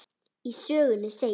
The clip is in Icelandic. Í sögunni segir: